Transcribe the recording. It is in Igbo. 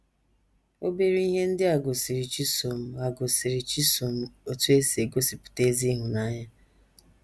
Obere ihe ndị a gosiri Chisom a gosiri Chisom otú e si egosipụta ezi ịhụnanya.